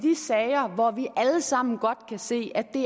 alle sammen godt kan se at det